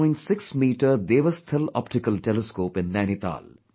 6 metre Devasthal optical telescope in Nainital